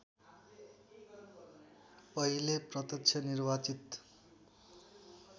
पहिले प्रत्यक्ष निर्वाचित